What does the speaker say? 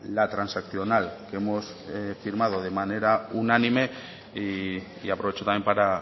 la transaccional que hemos firmado de manera unánime y aprovecho también para